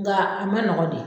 Nga a ma nɔgɔ de